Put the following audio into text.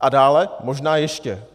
A dále možná ještě.